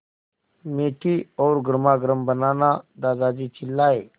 मीठी और गर्मागर्म बनाना दादाजी चिल्लाए